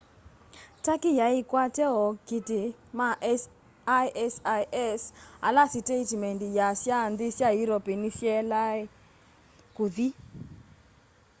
turkey yai ikwate ookiti ma isis ala siteitimendi yaasya nthi sya european nisyalea kuthi